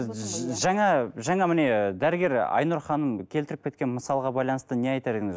жаңа жаңа міне дәрігер айнұр ханым келтіріп кеткен мысалға байланысты не айтар едіңіз